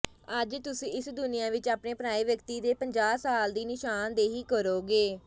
ਅੱਜ ਤੁਸੀਂ ਇਸ ਦੁਨੀਆਂ ਵਿੱਚ ਆਪਣੇ ਪਰਾਏ ਵਿਅਕਤੀ ਦੇ ਪੰਜਾਹ ਸਾਲ ਦੀ ਨਿਸ਼ਾਨਦੇਹੀ ਕਰੋਗੇ